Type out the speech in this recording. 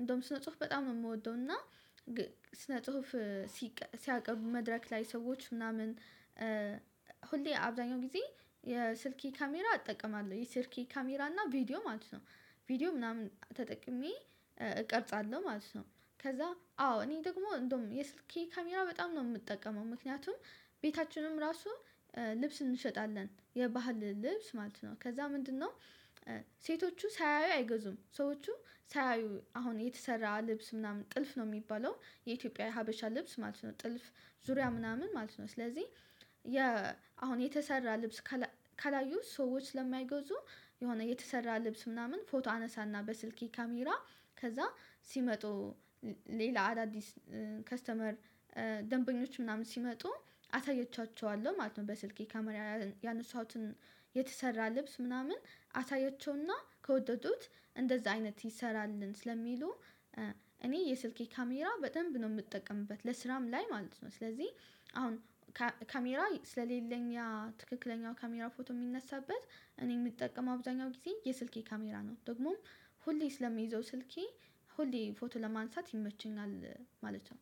እንደውም ስነ ጽሁፍ በጣም ነው የምወደው እና ስነ ጽሁፍ ሲያቀርቡ መድረክ ላይ ሰዎች ምናምን ሁሌ አብዛኛው ጊዜ የስልኬ ካሜራ እጠቀማለሁ የስልኬ ካሜራ እና ቪዲዮ ማለት ነው ቪዲዮ ምናምን ተጠቅሜ እቀርጻለሁ ማለት ነው። ከዚያ አዎ እኔ ደግሞ እንደውም የስልኬ ካሜራ በጣም ነው የምጠቀመው ምክንያቱም ቤታችንም ራሱ ልብስ እንሸጣለን የባህል ልብስ ማለት ነው። ከዚያ ምንድነው? ሴቶቹ ሳያዩ አይገዙም ሰዎቹ ሳያዩ አሁን የተሰራ ልብስ ምናምን ጥልፍ ነው የሚባለው የኢትዮጵያ ሀበሻ ልብስ ማለት ነው። ጥልፍ ዙሪያ ምናምን ማለት ነው። ስለዚህ የ አሁን የተሰራ ልብስ ካላዩ ሰዎች ስለማይገዙ የሆነ የተሰራ ልብስ ምናምን ፎቶ አነሳና በስልኬ ካሜራ ከዚያ ሲመጡ ሌላ አዳዲስ ከስተመር ደንበኞች ምናምን ሲመጡ አሳየቻቸዋለሁ ማለት ነው። በስልኬ ካሜራ ያነሳሁትን የተሰራ ልብስ ምናምን አሳያቸውና ከወደዱት እንደዚያ አይነት ይሰራልን ስለሚሉ እኔ የስልኬ ካሜራ በደንብ ነው የምጠቀምበት ለስራም ላይ ማለት ነው። ስለዚህ አሁን ካሜራ ስለሌለኝ ያ ትክክለኛው ካሜራ ፎቶ የሚነሳበት እኔ የምጠቀም አብዛኛው ጊዜ የስልኬ ካሜራ ነው ደግሞም ሁሌ ስለሚይዘው ስልኬ ሁሌ ፎቶ ለማንሳት ይመቸኛል ማለት ነው።